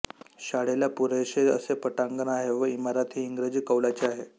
शाळेला पुरेशे असे पटांगण आहे व इमारत हि इंग्रजी कौलाची आहे